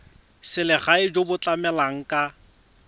selegae jo bo tlamelang ka